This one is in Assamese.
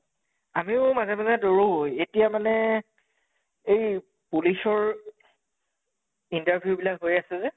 আমিও মাজে মাজে দৌৰো, এতিয়া মানে এই police ৰ interview বিলাক হৈ আছে যে